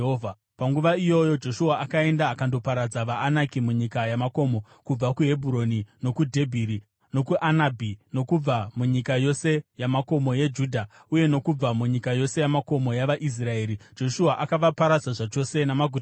Panguva iyoyo Joshua akaenda akandoparadza vaAnaki munyika yamakomo: kubva kuHebhuroni, nokuDhebhiri nokuAnabhi, nokubva munyika yose yamakomo yeJudha, uye nokubva munyika yose yamakomo yavaIsraeri. Joshua akavaparadza zvachose namaguta avo.